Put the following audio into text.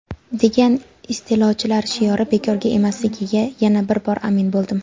degan istilochilar shiori bekorga emasligiga yana bir bor amin bo‘ldim.